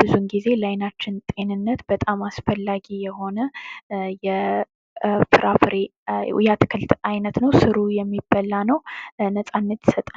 ብዙ ጊዜ ለአይናችን ጤንነት በጣም አስፈላጊ የሆነ የአትክልት አይነት ነዉ ስሩ የሚበላ ነዉ። ነፃነት ይሰጣል።